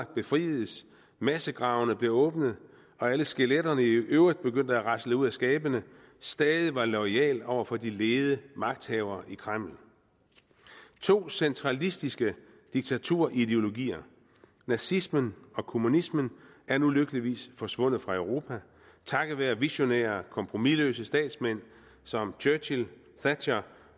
befriedes massegravene blev åbnet og alle skeletterne i øvrigt begyndte at rasle ud af skabene stadig var loyal over for de lede magthavere i kreml to centralistiske diktaturideologier nazismen og kommunismen er nu lykkeligvis forsvundet fra europa takket være visionære kompromisløse statsmænd som churchill thatcher